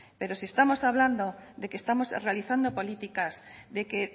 pero si estamos hablando de que estamos realizando políticas de que